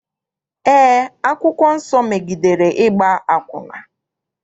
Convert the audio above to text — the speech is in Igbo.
Eé, akwụkwọ nsọ megidere ịgba akwụna.